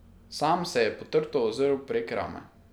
Sam se je potrto ozrl prek rame.